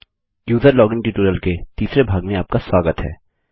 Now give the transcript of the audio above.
user login tutorial के तीसरे भाग में आपका स्वागत है